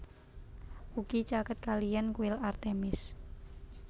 Ugi caket kaliyan kuil Artemis